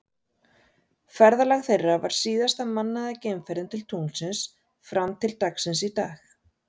Ferðalag þeirra var síðasta mannaða geimferðin til tunglsins fram til dagsins í dag.